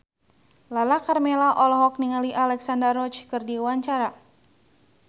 Lala Karmela olohok ningali Alexandra Roach keur diwawancara